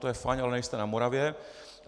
To je fajn, ale nejsme na Moravě.